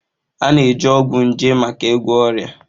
A na-eji ọgwụ nje maka ịgwọ ọrịa